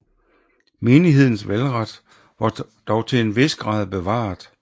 Menighedens valgret var dog til en vis grad bevaret